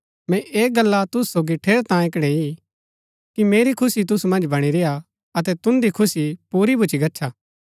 मैंई ऐह गल्ला तुसु सोगी ठेरैतांये कणैई कि मेरी खुशी तुसु मन्ज बणी रेय्आ अतै तुन्दी खुशी पुरी भूच्ची गच्छा